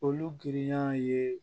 Olu girinya ye